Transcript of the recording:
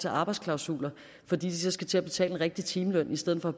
arbejdsklausuler fordi de så skal til at betale en rigtig timeløn i stedet for at